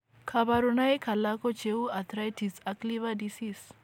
kabarunaik alak ko cheuu arthritis ak liver disease